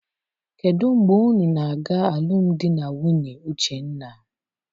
Kedụ mgbe unu na-aga alụmdi na nwunye Uchenna?